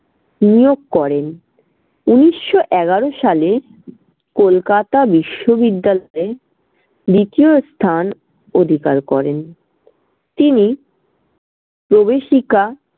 নিয়োগ করেন। উনিশশো এগারো সালে কলকাতা বিশ্ববিদ্যালয়ে দ্বিতীয় স্থান অধিকার করেন। তিনি প্রবেশিকা